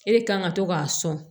E de kan ka to k'a sɔn